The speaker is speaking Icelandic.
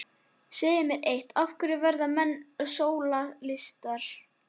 Segðu mér eitt: af hverju verða menn sósíalistar?